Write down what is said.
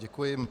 Děkuji.